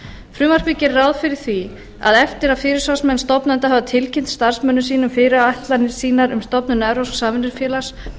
frumvarpið gerir ráð fyrir því að eftir að fyrirsvarsmenn stofnenda hafa tilkynnt starfsmönnum sínum fyrirætlanir sínar um stofnun evrópsks samvinnufélags